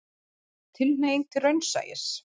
Tilhneiging til raunsæis.